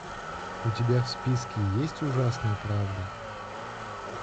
у тебя в списке есть ужасная правда